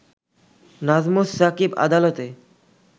নাজমুস সাকিব আদালতে